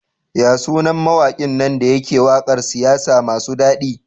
Yasu nan mawakin nan dayake waƙar siyasa masu dadi?